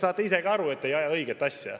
Saate ise ka aru, et te ei aja õiget asja.